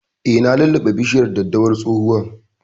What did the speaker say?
Eh, na lulluɓe bishiyar daddawar tsohuwan